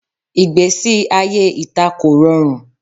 Igbesi aye ita ko rọrun